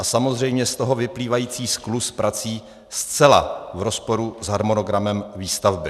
A samozřejmě z toho vyplývající skluz prací zcela v rozporu s harmonogramem výstavby?